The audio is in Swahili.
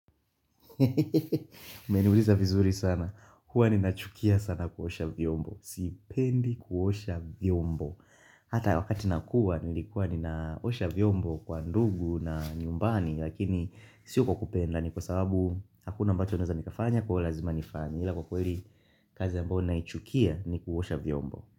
Umeniuliza vizuri sana huwa nina nachukia sana kuosha vyombo Sipendi kuosha vyombo Hata wakati nakuwa nilikuwa ni naosha vyombo kwa ndugu na nyumbani Lakini sio kwa kupenda ni kwa sababu Hakuna ambacho naweza nikafanya kwa lazima nifanye Hila kukweli kazi ambayo naichukia ni kuosha vyombo.